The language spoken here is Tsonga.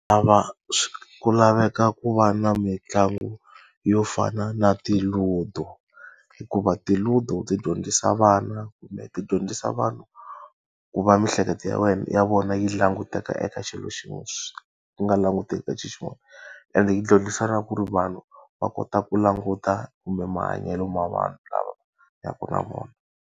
Lava ku laveka ku va na mitlangu yo fana na ti-Ludo. Hikuva ti-Ludo ti dyondzisa vana kumbe ti dyondzisa vanhu ku va mihleketo ya ya vona yi languta eka xilo xin'we ku nga languti ka xilo xin'wana. Ende yi dyondzisa na ku ri vanhu va kota ku languta kumbe mahanyelo ma vanhu lava hanyaka na vona.